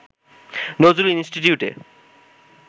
নজরুল ইনস্টিটিউটে